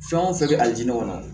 Fɛn o fɛn bɛ a diinɛ ma